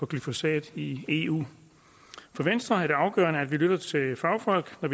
glyfosat i eu for venstre er det afgørende at lytte til fagfolk når